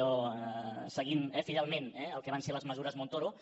allò seguint fidelment eh el que van ser les mesures montoro